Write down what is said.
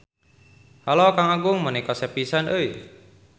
Halo Kang Agung meuni kasep pisan euy.